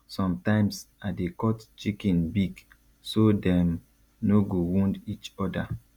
sometimes i dey cut chicken beak so dem no go wound each other